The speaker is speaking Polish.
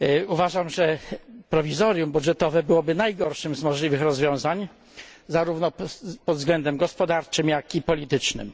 Uważam, że prowizorium budżetowe byłoby najgorszym z możliwych rozwiązań, zarówno pod względem gospodarczym, jak i politycznym.